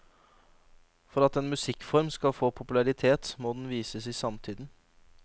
For at en musikkform skal få popularitet, må den vises i samtiden.